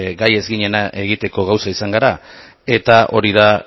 gai ez ginena egiteko gauza izan gara eta hori da